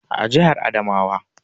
A jihar Adamawa